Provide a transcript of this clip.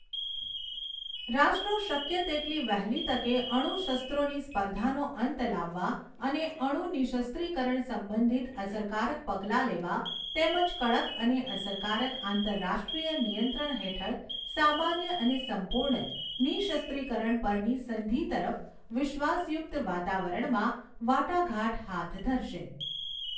રાષ્ટ્રો શક્ય તેટલી વહેલી તકે અણુશસ્ત્રોની સ્પર્ધાનો અંત લાવવા અને અણુ નિઃશસ્ત્રીકરણ સંબંધિત અસરકારક પગલાં લેવા તેમજ કડક અને અસરકારક આંતરરાષ્ટ્રીય નિયંત્રણ હેઠળ સામાન્ય અને સંપૂર્ણ નિઃશસ્ત્રીકરણ પરની સંધિ તરફ વિશ્વાસયુક્ત વાતાવરણમાં વાટાઘાટ હાથ ધરશે.